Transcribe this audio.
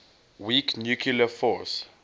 weak nuclear force